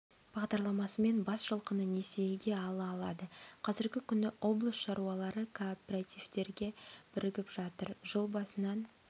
бағдарламасымен бас жылқыны несиеге ала алады қазіргі күні облыс шаруалары кооперативтерге бірігіп жатыр жыл басынан